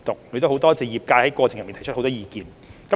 我亦感謝業界在過程中提出很多意見。